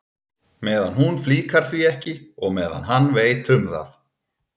Meðan hún flíkar því ekki og meðan hann veit um það.